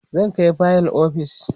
zan Kai fayil ofis